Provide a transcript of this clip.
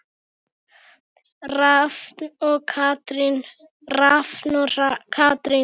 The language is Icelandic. Rafn og Katrín.